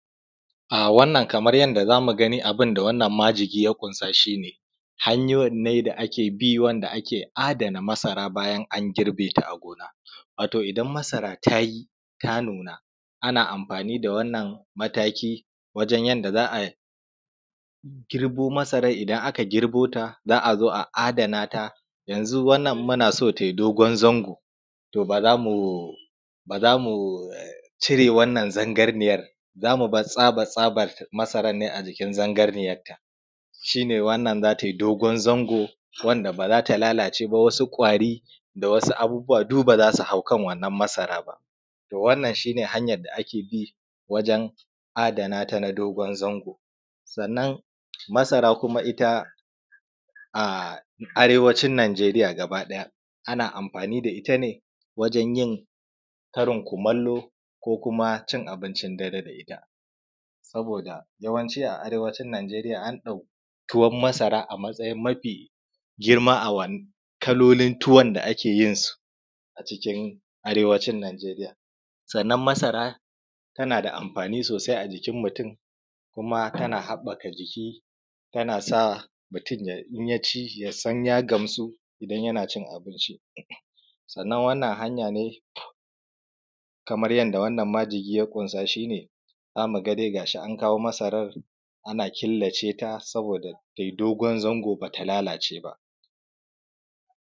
Wannan kamar yadda za mu gani, abin da wannan majigi ya ƙunsa shi ne, hanyuwan ne da ake bi wanda ake adana masara bayan an girbe ta a gona. Wato idan masara ta yi, ta nuna, ana amfani da wannan mataki wajen yanda za a girbo masaran idan aka girbo ta, za a zo a adana ta. Yanzu wannan in muna so ta yi dogon zango, to ba za mu, ba za mu cire wannan zangarniyar, za mu bar tsaba-tsabar masarar ne a jikin zangarniyarta, shi ne wannan za ta yi dogon zango, wanda ba za ta lalace ba, wasu ƙwari da wasu abubuwa duk ba za su hau kan wannan masarar ba. To wannan shi ne hanyar da ake bi wajen adana ta na dogon zango. Sannan masara kuma ita a Arewacin Nijeriya gaba ɗaya ana amfani da ita ne wajen yin karin kumallo ko kuma cin abincin dare da ita,, saboda yawanci a Arewacin Nijeriya an ɗauki tuwon masara a matsayin mafi girma a kalolin tuwon da ake yin su a cikin Arewacin Nijeriya. Sannan masara tana da amfani sosai a jikin mutum kuma tana haɓɓaka jiki, tana sa mutum ya, in ya ci, ya san ya gamsu, idan yana cin abincin. Sannan wannan hanya ne kamar yanda wannan majigi ya ƙunsa shi ne za mu ga dai ga shi an kawo masarar, ana killace ta saboda ta yi dogon zango, ba ta lalace ba.